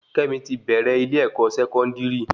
Kémi ti bèrè ile-ẹkọ Sẹkọndiri